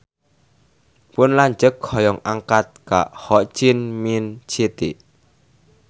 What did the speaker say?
Pun lanceuk hoyong angkat ka Ho Chi Minh City